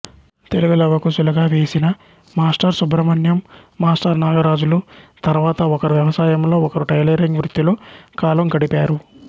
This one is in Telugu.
తెలుగు లవకుశులుగా వేసిన మాస్టర్ సుబ్రహ్మణ్యం మాస్టర్ నాగరాజులు తరువాత ఒకరు వ్యవసాయంలో ఒకరు టైలరింగ్ వృత్తిలో కాలం గడిపారు